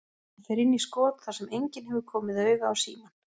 Hann fer inn í skot þar sem enginn hefur komið auga á símann.